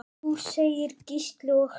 Jú segir Gísli og hlær.